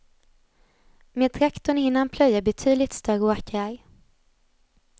Med traktorn hinner han plöja betydligt större åkrar.